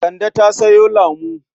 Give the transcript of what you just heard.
Kande ta sayo lamo.